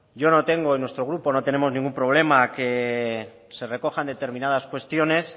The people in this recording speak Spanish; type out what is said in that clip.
yo no tengo en nuestro grupo no tenemos ningún problema que se recojan determinadas cuestiones